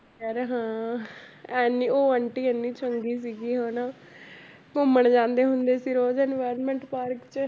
ਯਾਰ ਹਾਂ ਇੰਨੀ ਉਹ ਆਂਟੀ ਇੰਨੀ ਚੰਗੀ ਸੀਗੀ ਹਨਾ ਘੁੰਮਣ ਜਾਂਦੇ ਹੁੰਦੇ ਸੀ ਰੋਜ਼ environment ਪਾਰਕ 'ਚ